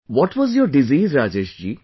What was your disease Rajesh ji